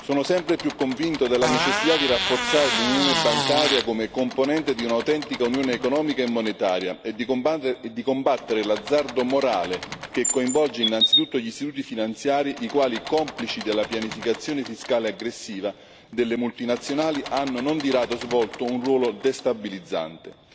Sono sempre più convinto della necessità di rafforzare l'unione bancaria come componente di un'autentica unione economica e monetaria e combattere l'azzardo morale che coinvolge innanzitutto gli istituti finanziari i quali, complici della pianificazione fiscale aggressiva delle multinazionali, hanno non di rado svolto un ruolo destabilizzante.